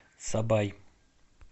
сабай